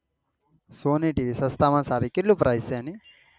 Sony tv સસ્તામાં સારામાં સારી છે કેટલી price છે એન